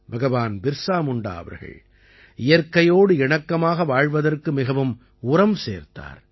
பகவான் பிர்ஸா முண்டா அவர்கள் இயற்கையோடு இணக்கமாக வாழ்வதற்கு மிகவும் உரம் சேர்த்தார்